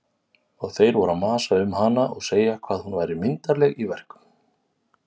Og þeir voru að masa um hana og segja hvað hún væri myndarleg í verkum.